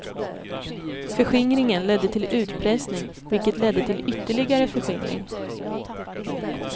Förskingringen ledde till utpressning vilket ledde till ytterligare förskingring.